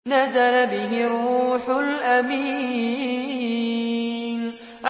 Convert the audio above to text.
نَزَلَ بِهِ الرُّوحُ الْأَمِينُ